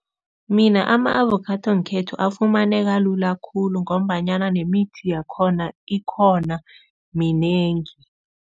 Mina ama-avokhado ngekhethu afumaneka lula khulu ngombanyana nemithi yakhona ikhona, minengi.